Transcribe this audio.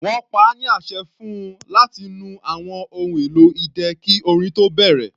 Wọ́n pa á ní àṣẹ fún-un láti nu àwọn ohun èlò idẹ kí orin tó bẹ̀rẹ̀.